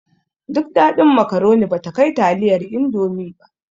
Duk daɗin makaroni bata kai taliyar indomi ba